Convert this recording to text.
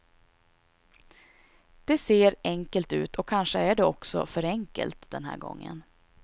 Det ser enkelt ut och kanske är det också för enkelt den här gången.